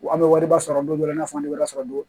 An bɛ wariba sɔrɔ don dɔ i n'a fɔ an bɛ yɔrɔ sɔrɔ don